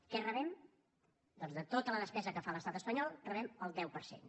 què rebem doncs de tota la despesa que fa l’estat espanyol en rebem el deu per cent